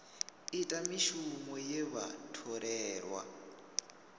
ita mishumo ye vha tholelwa